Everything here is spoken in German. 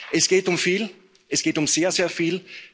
Es geht um viel, es geht um sehr, sehr viel.